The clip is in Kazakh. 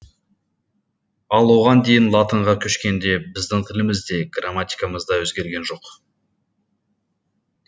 ал оған дейін латынға көшкенде біздің тіліміз де грамматикамыз да өзгерген жоқ